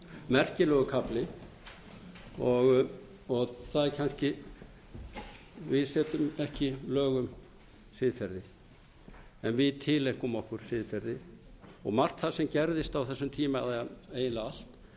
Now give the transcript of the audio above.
merkilegur kafli og það er kannski við setjum ekki lög um siðferði en við tileinkum okkur siðferði og margt það sem gerðist á þessum tíma eða eiginlega allt